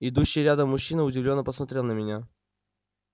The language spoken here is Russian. идущий рядом мужчина удивлённо посмотрел на меня